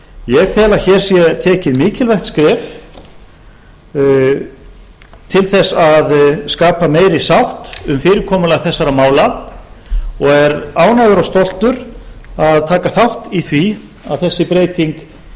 ég tel að hér sé tekið mikilvægt skref til þess að skapa meiri sátt um fyrirkomulag þessara mála og er ánægður og stoltur að taka þátt í því að þessi breyting